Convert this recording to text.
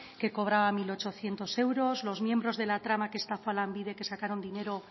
que cobraba mil ochocientos euros los miembros de la trama que estafa a lanbide que sacaron dinero